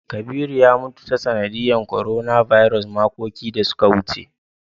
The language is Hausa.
Kabiru ya mutu ta sanadiyar "coronavirus" makoki da su ka wuce.